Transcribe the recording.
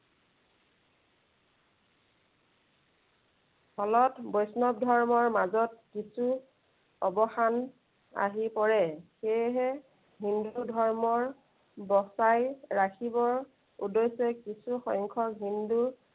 ফলত ধৰ্মৰ মাজত কিছু অৱসান আহি পৰে। সেয়েহে হিন্দু ধৰ্মৰ বচাই ৰাখিবৰ উদ্দেশ্য়ে কিছু সংখ্য়ক হিন্দু